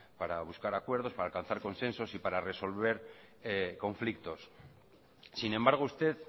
para buscar acuerdos para alcanzar consensos y para resolver conflictos sin embargo usted